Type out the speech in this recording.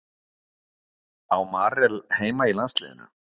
Á Marel heima í landsliðinu?